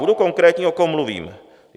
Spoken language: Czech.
Budu konkrétní, o kom mluvím.